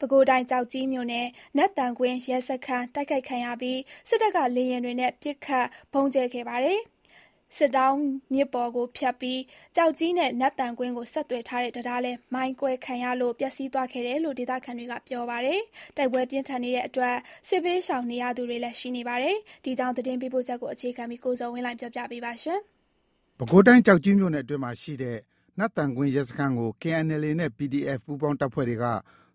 ပဲခူးတိုင်း၊ ကျောက်ကြီးမြို့နယ်၊ နတ်သံကွင်း ရဲစခန်း တိုက်ခိုက်ခံရပြီး စစ်တပ်က လေယာဉ်တွေနဲ့ ပစ်ခတ် ဗုံးကြဲခဲ့သလို စစ်တောင်းမြစ်ပေါ်ကိုဖြတ်ပြီး ကျောက်ကြီးနဲ့ နတ်သံကွင်းကို ဆက်သွယ်ထားတဲ့ တံတားလည်း မိုင်းခွဲခံရလို့ ပျက်စီးသွားခဲ့တယ်လို့ ဒေသခံတွေက ပြောပါတယ်။ တိုက်ပွဲပြင်းထန်နေတဲ့အတွက် စစ်ဘေးရှောင်နေရသူတွေလည်း ရှိနေပါတယ်။ ဒီအကြောင်း သတင်းပေးပို့ချက်ကို အခြေခံပြီး ကိုဇော်ဝင်းလှိုင်က ပြောပြပါမယ်။ ပဲခူးတိုင်း၊ ကျောက်ကြီးမြို့နယ်အတွင်းမှာရှိတဲ့ နတ်သံကွင်း ရဲစခန်းကို KNLA နဲ့ PDF ပူးပေါင်း အဖွဲ့တွေက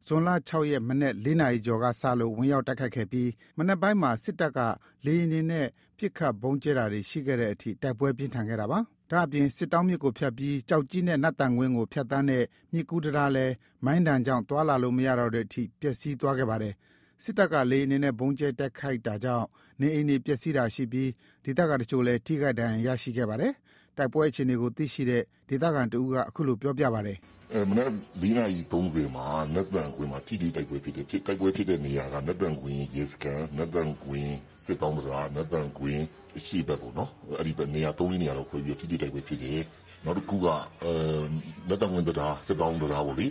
ဇွန် ၆ ရက် မနက် ၄ နာရီကျော်ကစလို့ ဝင်ရောက်တိုက်ခိုက်ခဲ့ပြီး မနက်ပိုင်းမှာ စစ်တပ်ဘက်က လေယာဉ်တွေနဲ့ ပစ်ခတ်ဗုံးကြဲတာတွေ ရှိခဲ့တဲ့အထိ တိုက်ပွဲပြင်းထန်ခဲ့တာပါ။ ဒါ့အပြင် စစ်တောင်းမြစ်ကို ဖြတ်ပြီး ကျောက်ကြီးနဲ့ နတ်သံကွင်းကို ဖြတ်သန်းတဲ့ မြစ်ကူးတံတားလည်း မိုင်းဒဏ်ကြောင့် သွားလာလို့မရတော့တဲ့အထိ ပျက်စီးသွားပါတယ်။ စစ်တပ်က လေယာဉ်တွေနဲ့ ဗုံးကြဲတိုက်ခိုက်တာကြောင့် နေအိမ်တွေပျက်စီးတာရှိပြီး ဒေသခံအချို့လည်း ထိခိုက်ဒဏ်ရာရရှိခဲ့ပါတယ်။ တိုက်ပွဲအခြေအနေကို သိရှိတဲ့ ဒေသခံတဦးက အခုလို ပြောပြပါတယ်။ “မနက် ၄ နာရီ ၃၀ မှာ နတ်သံကွင်းမှာ ထိတွေ့တိုက်ပွဲဖြစ်တယ်။ ဖြစ်တဲ့နေရာက နတ်သံကွင်းရဲစခန်း နတ်သံကွင်း စစ်တောင်းတံတား နတ်သံကွင်း အရှေ့ဘက်ပေါ့နော် နေရာ ၃/၄ နေရာလောက်ခွဲပြီးတော့ ထိတွေ့တိုက်ပွဲဖြစ်တယ်။ နောက်တခုက နတ်သံကွင်းတံတား စစ်တောင်း တံတားပေါ့လေ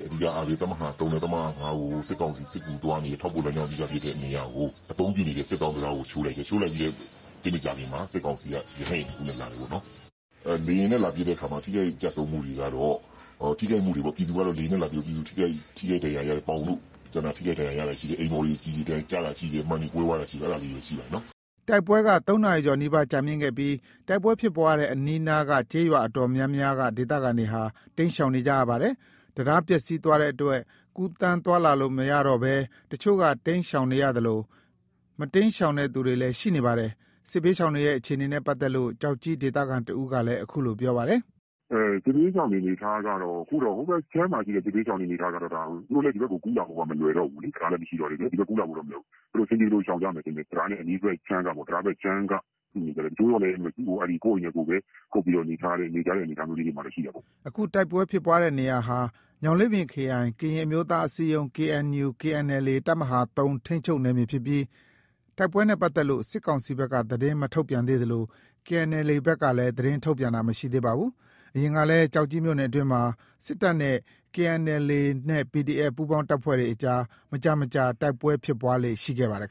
တပ်မဟာ ၃ နဲ့ တပ်မဟာ ၅ ကို စစ်ကောင်စီ စစ်ကူသွားနေတဲ့ ထောက်ပို့လမ်းကြောင်းဖြစ်တဲ့ အဓိကနေရာကို အသုံးပြုနေတဲ့ စစ်တောင်းတံတားကို ချိုးလိုက်တယ်။ ချိုးလိုက်ပြီး သိပ်မကြာခင်မှာ စစ်ကောင်စီက ရဟတ်ယာဉ်တခုနဲ့ လာတယ်ပေါ့နော်။ ထိခိုက်ကျဆုံးမှုတွေကတော့၊ ထိခိုက်မှုတွေပေါ့ ပြည်သူထိခိုက်ဒဏ်ရာရတာ ပေါင်တို့ ကျန်တာတွေ ထိခိုက်ဒဏ်ရာရတာရှိတယ်။ အိမ်ပေါ်တွေ ကျတာတွေရှိတယ်။ မှန်တွေကွဲသွားတာရှိတယ်။ အဲ့ဒါလေးတွေတော့ရှိတယ်။” တိုက်ပွဲက ၃ နာရီကျော် နီးပါးကြာမြင့်ခဲ့ပြီး တိုက်ပွဲဖြစ်ပွားတဲ့ အနီးက ကျေးရွာတော်တော်များများ ဒေသခံတွေဟာ တိမ်းရှောင်နေရပါတယ်။ တံတား ပျက်စီးသွားတဲ့အတွက် ကူးသန်းသွားလာလို့ မရတော့ဘဲ အချို့က တိမ်းရှောင်သလို မတိမ်းရှောင်တဲ့သူတွေလည်း ရှိနေပါတယ်။ စစ်ဘေးရှောင်တွေရဲ့ အခြေအနေနဲ့ ပတ်သက်လို့ ကျောက်ကြီးဒေသခံတဦးကလည်း အခုလို ပြောပါတယ်။ “စစ်ဘေးရှောင်တွေ အနေအထားကတော့ ဟိုဘက်ခြမ်း မှာရှိတဲ့ စစ်ဘေးရှောင်တွေကတော့ သူတို့လည်း ဒီဘက် ကို ကူးလာဖို့က မလွယ်တော့ဘူး။ တံတားလည်း မရှိတော့တဲ့အတွက် ဒီဘက်ကို ကူးလာဖို့ မလွယ်တော့ဘူး။ အဆင်ပြေသလို ရှောင်ကြမယ်ထင်တယ်။ တံတားနဲ့အနီးဘက် တံတားဘက်ခြမ်းက စုနေကြတယ်။ တချို့လည်း ကိုယ့်အိမ်ထဲကိုယ် ကုတ်ပြီးနေကြတဲ့ အနေအထားမျိုးတွေမှာရှိတာပေါ့။” အခုတိုက်ပွဲဖြစ်ပွားနေတဲ့နေရာဟာ ညောင်လေးပင်ခရိုင်၊ ကရင်အမျိုးသား အစည်းအရုံး ရဲ့ KNLA တပ်မဟာ ထိန်းချုပ်နယ်မြေဖြစ်ပြီး တိုက်ပွဲနဲ့ပတ်သက်လို့ စစ်ကောင်စီဘက်က သတင်းမထုတ်ပြန်သေးသလို KNLA ဘက်ကလည်း သတင်းထုတ်ပြန်တာ မရှိသေးပါဘူး။ အရင်ကလည်း ကျောက်ကြီးမြို့နယ်အတွင်းမှာ စစ်တပ်နဲ့ KNLA နဲ့ PDF ပူးပေါင်းတပ်ဖွဲ့တွေကြား မကြာမကြာ တိုက်ပွဲတွေ ဖြစ်လေ့ရှိခဲ့ပါတယ်